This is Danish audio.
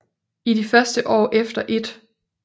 I de første år efter 1